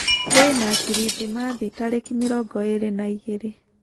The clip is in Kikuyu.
kwĩna kĩrĩthĩmathĩ tarĩkĩ mĩrongo ĩrĩ na ĩgĩrĩ